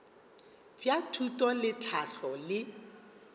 bja thuto le tlhahlo le